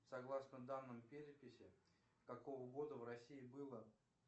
согласно данным переписи какого года в россии было